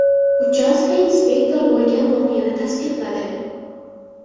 Uchastka inspektori bo‘lgan voqeani tasdiqladi.